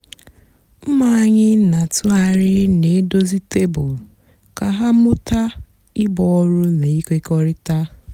ụmụ ányị nà-àtụgharị nà-èdozi tebụl kà hà mụta íbú ọrụ nà ịkèkọrịta.